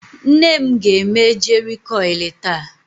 Nnem ga-eme jeri kọilụ taa.